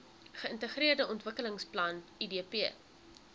geintegreerde ontwikkelingsplan idp